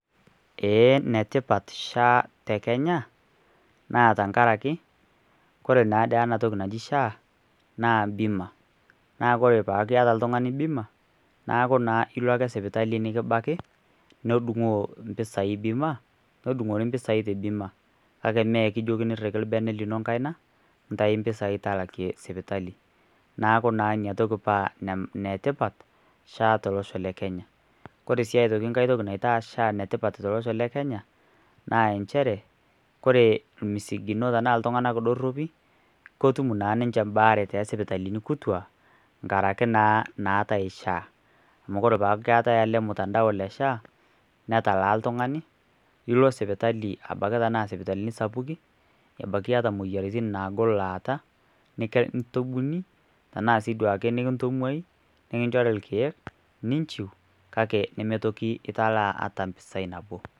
Eeeh enetipa SHA tekenya tenkangari ore naa ena toki naji SHA naa bima ore piata oltung'ani bima ilo ake sipitali nikibaki nedung'oo impisai bima nedung'ori impisai te bima kake mee ekijiokini riki orbene lino enkaina intayu impisai talakieke sipitali naaku naa inatoki paa enetipat SHA tolosho le kenya ore si enkae toki naita enetipat tolosho le kenya naa inchere ore imisigino tenaa iltung'anak doropi kotum naa ninche mbaare toosipitalini kutua nkaraki naa naatai SHA amu ore naa peetai ormutandao le SHA netalaa oltung'ani ilo sipitali abaiki tenaa sipitali sapukin ebaiki iyata imoyiaritin naagoo laata nikintumbuni tenaa nikintung'uai nikinchori irkiek ninchu metii toki italaa ata impeaai nabo.